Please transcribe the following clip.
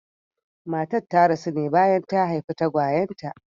Matar ta rasu ne bayan ta haifi tagwayen ta.